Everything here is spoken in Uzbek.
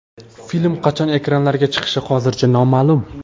Film qachon ekranlarga chiqishi hozircha noma’lum.